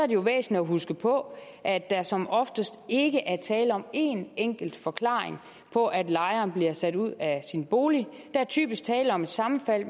det jo væsentligt at huske på at der som oftest ikke er tale om en enkelt forklaring på at lejeren bliver sat ud af sin bolig der er typisk tale om et sammenfald